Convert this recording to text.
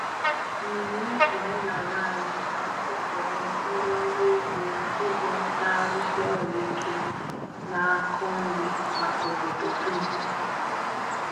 Mmemme omenala anyị na-asọpụrụ ndị ọrụ ugbo ugbo na-arụsi ọrụ ike na-akọ nri maka obodo dum.